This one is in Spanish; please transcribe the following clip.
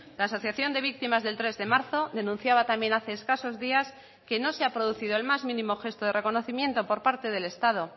la asociación de víctimas del tres de marzo denunciaba también hace escasos días que no se ha producido el más mínimo gesto de reconocimiento por parte del estado